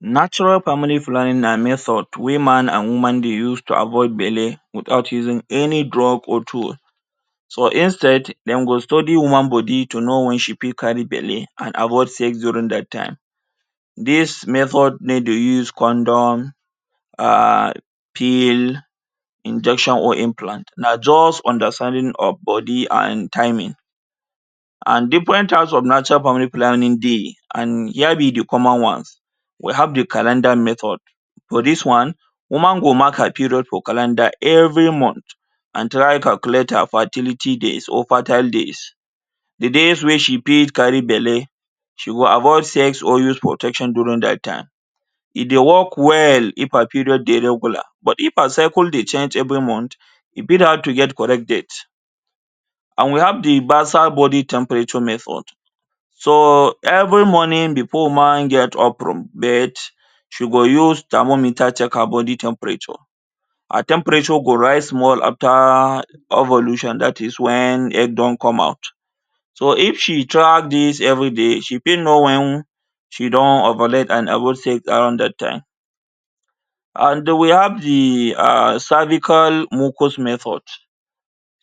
Natural family planning na method wey man and woman dey use to avoid belle without using any drug or tool so instead dem go study woman body to know when she fit carry belle and avoid sex during that time. this method no dey use condom um pill injection or implants na just understanding of body and timing and different types of natural family planning dey and here be de common ones. We have de calendar method: for this one woman go mark her period for calendar every month and try calculate her fertility days or fertile days. De days wey she fit carry belle, she go avoid sex or use protection during that time. e dey work well if her period dey regular but if her cycle dey change every month, e fit hard to get correct date and we have de bassal body temperature method. So every morning before woman get up from bed she go use thermometer check her body temperature. her temperature go rise small after ovulation that is, when egg don come out so if she track this everyday she fit know wen she don ovulate and avoid sex around that time and we have de [um]cervical mucus method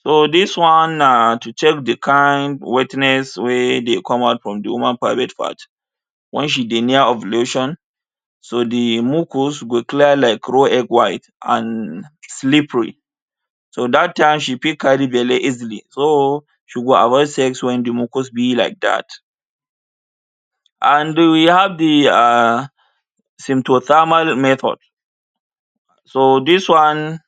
so this one na to check de kind wetness wey dey come out from de woman private part. When she dey near ovulation, so de mucus go clear like raw egg, white and slippery so that time she fit carry belle easily. So she go avoid sex. When de mucus be like that and we have de um sympothermal method. So this one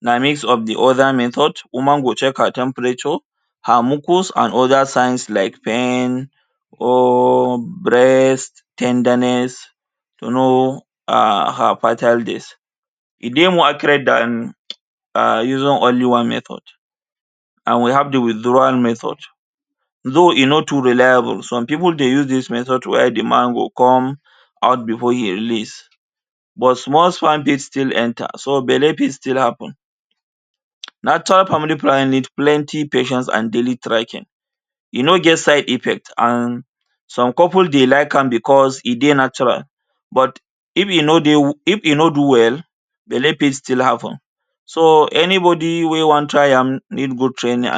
na mix of de other method. Woman go check her temperature her mucus and other signs like pain or breast ten derness to know her her fertile days e dey more accurate than using only one method. and we have de withdrawal method though, e no too reliable some people dey use this method while de man go come out before e release but small sperm fit still enter. So belle fit still happen. Natural family planning need plenty patience and daily tracking. E no get side effect and some couple dey like am because e dey natural. But if e no dey if e no do well, belle fit still happen. So anybody wey wan try am need go training.